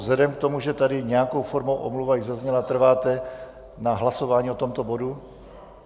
Vzhledem k tomu, že tady nějakou formou omluva již zazněla, trváte na hlasování o tomto bodu?